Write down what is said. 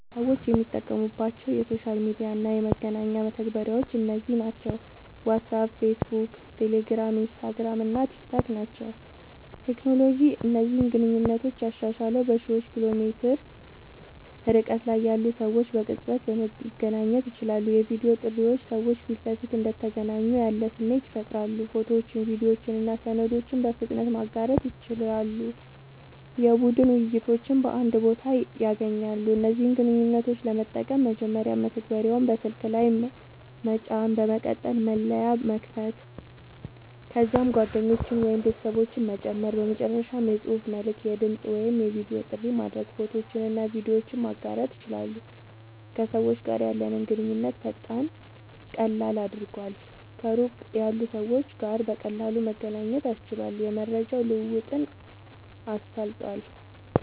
ሰዎች የሚጠቀሙባቸው የሶሻል ሚዲያ እና የመገናኛ መተግበሪያዎች እነዚህ ናቸው፦ ዋትስአፕ፣ ፌስቡክ፣ ቴሌግራም፣ ኢንስታግራም እና ቲክታክ ናቸዉ።.ቴክኖሎጂ እነዚህን ግንኙነቶች ያሻሻለዉ፦ በሺዎች ኪሎ ሜትር ርቀት ላይ ያሉ ሰዎች በቅጽበት መገናኘት ይችላሉ። የቪዲዮ ጥሪዎች ሰዎች ፊት ለፊት እንደተገናኙ ያለ ስሜት ይፈጥራሉ። ፎቶዎችን፣ ቪዲዮዎችን እና ሰነዶችን በፍጥነት ማጋራት ይችላሉ። የቡድን ውይይቶችን በአንድ ቦታ ያገናኛሉ። እነዚህን ግንኙነቶች ለመጠቀም፦ መጀመሪያ መተግበሪያውን በስልክ ላይ መጫን፣ በመቀጠል መለያ መክፈት፣ ከዚያም ጓደኞችን ወይም ቤተሰቦችን መጨመር፣ በመጨረሻም የጽሑፍ መልዕክት፣ የድምጽ ወይም የቪዲዮ ጥሪ ማድረግ፣ ፎቶዎችንና ቪዲዮዎችን ማጋራት ይችላሉ። ከሰዎች ጋር ያለንን ግንኙነት ፈጣንና ቀላል አድርጓል፣ ከሩቅ ያሉ ሰዎች ጋር በቀላሉ መገናኘት አስችሏል፣ የመረጃ ልዉዉጥን አሳልጧል